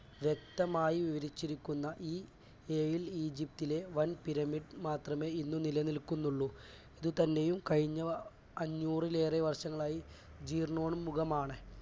വ്യക്തമായി വിവരിച്ചിരിക്കുന്ന ഈ ഏഴിൽ ഈജിപ്തിലെ വൻ പിരമിഡ് മാത്രമേ ഇന്ന് നിലനിൽക്കുന്നുള്ളൂ. ഇതിൽ തന്നെയും കഴിഞ്ഞ അഞ്ഞൂറിലേറെ വർഷങ്ങളായി ജീർണ്ണോമുഖമാണ്.